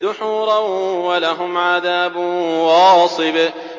دُحُورًا ۖ وَلَهُمْ عَذَابٌ وَاصِبٌ